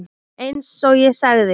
Eins og ég sagði.